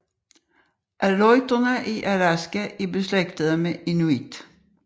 Aleuterne i Alaska er beslægtede med inuit